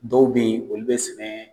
Dɔw be yen olu bi sɛnɛ